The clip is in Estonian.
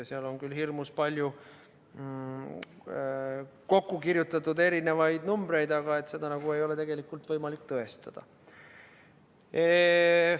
Seal on küll hirmus palju kokku kirjutatud erinevaid numbreid, aga seda ei ole tegelikult võimalik tõestada.